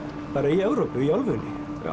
í Evrópu í álfunni